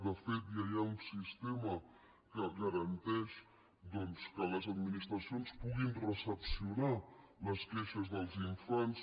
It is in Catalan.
de fet ja hi ha un sistema que garanteix doncs que les administracions puguin recepcionar les queixes dels infants